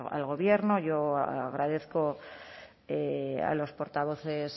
al gobierno yo agradezco a los portavoces